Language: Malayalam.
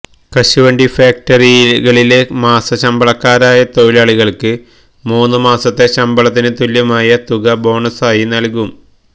കശുവണ്ടി ഫാക്ടറികളിലെ മാസശമ്പളക്കാരായ തൊഴിലാളികൾക്ക് മൂന്നുമാസത്തെ ശമ്പളത്തിന് തുല്യമായ തുക ബോണസായി നൽകും